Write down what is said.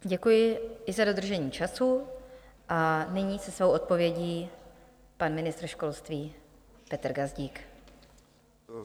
Děkuji i za dodržení času a nyní se svou odpovědí pan ministr školství Petr Gazdík.